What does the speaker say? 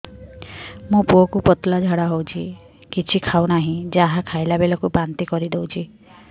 ମୋ ପୁଅ କୁ ପତଳା ଝାଡ଼ା ହେଉଛି କିଛି ଖାଉ ନାହିଁ ଯାହା ଖାଇଲାବେଳକୁ ବାନ୍ତି କରି ଦେଉଛି